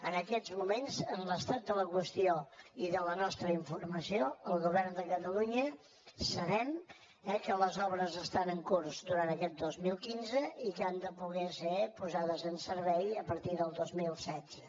en aquests moments en l’estat de la qüestió i de la nostra informació al govern de catalunya sabem que les obres estan en curs durant aquest dos mil quinze i que han de poder ser posades en servei a partir del dos mil setze